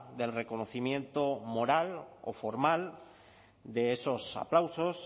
del reconocimiento moral o formal de esos aplausos